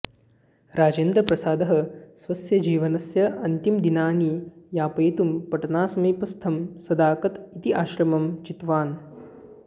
राजेन्द्रप्रसादः स्वस्य जीवनस्य अन्तिमदिनानि यापयितुं पाटनासमीपस्थं सदाकत इति आश्रमं चितवान्